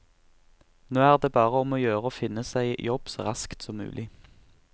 Nå er det bare om å gjøre å finne seg jobb så raskt som mulig.